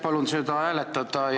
Palun seda hääletada ja ...